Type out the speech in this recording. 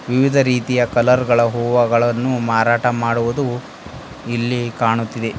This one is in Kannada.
ವಿವಿಧ ರೀತಿಯ ಕಲರ್ ಗಳ ಹೂವುಗಳನ್ನು ಮಾರಾಟ ಮಾಡುವುದು ಇಲ್ಲಿ ಕಾಣುತ್ತಿದೆ.